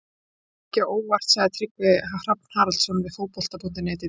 Það kom mikið á óvart, sagði Tryggvi Hrafn Haraldsson við Fótbolta.net í dag.